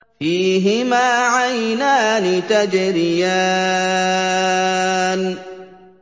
فِيهِمَا عَيْنَانِ تَجْرِيَانِ